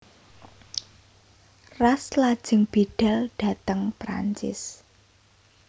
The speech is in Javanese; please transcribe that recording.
Ras lajeng bidhal dhateng Prancis